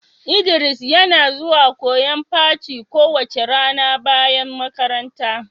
Idris yana zuwan koyon paci kowace rana bayan makaranta.